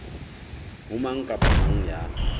ho mang kapa mang ya